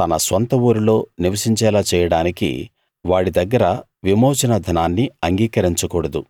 తన స్వంత ఊరిలో నివసించేలా చేయడానికి వాడి దగ్గర విమోచన ధనాన్ని అంగీకరించకూడదు